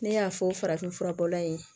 Ne y'a fɔ farafin furabɔla in ye